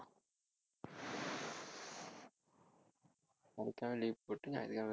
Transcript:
சனிக்கிழமை leave போட்டுட்டு ஞாயித்துக்கிழமை இருந்துட்டு